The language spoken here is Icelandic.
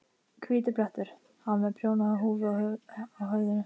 Hvítur blettur. hann var með prjónahúfu á höfðinu.